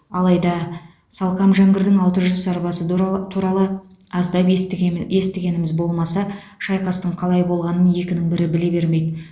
алайда салқам жәңгірдің алты жүз сарбазы дуралы туралы аздап естіген естігеніміз болмаса шайқастың қалай болғанын екінің бірі біле бермейді